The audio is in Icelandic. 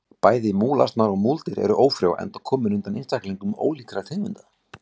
Bæði múlasnar og múldýr eru ófrjó enda komin undan einstaklingum ólíkra tegunda.